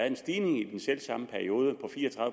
en stigning i den selv samme periode på fire og